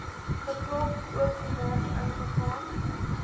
geklop oopgemaak ingegaan